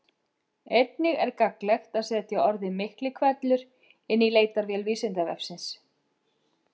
Einnig er gagnlegt að setja orðið Miklihvellur inn í leitarvél Vísindavefsins.